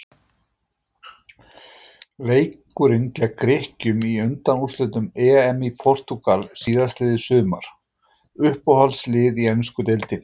Leikurinn gegn Grikkjum í undanúrslitum EM í Portúgal síðastliðið sumar Uppáhaldslið í ensku deildinni?